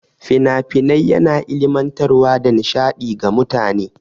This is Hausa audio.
Fina-finai yana ilimantar wa da nishaɗi ga mutane.